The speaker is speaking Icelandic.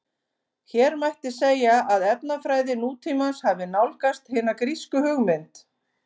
Hér mætti segja að efnafræði nútímans hafi nálgast hina grísku hugmynd.